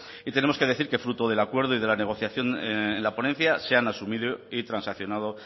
y tenemos que decir que fruto del acuerdo y de la negociación en la ponencia se han asumido y transaccionado